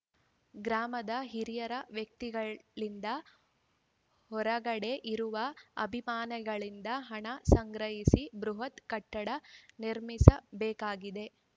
ಗ್ರಾಮದ ಹಿರಿಯ ವ್ಯಕ್ತಿಗಳಿಂದ ಹೊರಗಡೆ ಇರುವ ಅಭಿಮಾನಿಗಳಿಂದ ಹಣ ಸಂಗ್ರಹಿಸಿ ಬೃಹತ್‌ ಕಟ್ಟಡ ನಿರ್ಮಿಸಬೇಕಾಗಿದೆ